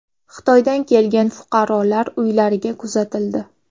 Xitoydan kelgan fuqarolar uylariga kuzatildi.